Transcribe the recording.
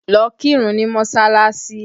Lọ kírun ní mọsalasi!